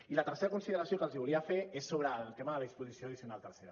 i la tercera consideració que els volia fer és sobre el tema de la disposició addicional tercera